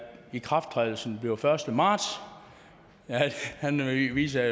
ikrafttrædelsen bliver den første marts han viser